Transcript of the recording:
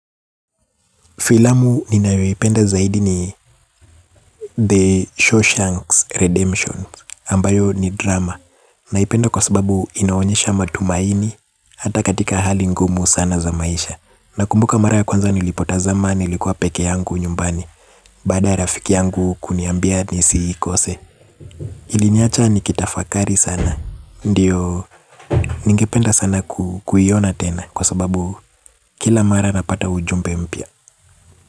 Filamu ninayo ipenda zaidi ni The Shawshanks Redemption, ambayo ni drama. Naipenda kwa sababu inaonyesha matumaini, hata katika hali ngumu sana za maisha. Nakumbuka mara ya kwanza nilipotazama niilikuwa peke yangu nyumbani, baada ya rafiki yangu kuniambia nisi ikose. Iliniacha nikitafakari sana, ndio ningependa sana kuiona tena kwa sababu kila mara napata ujumbe mpya.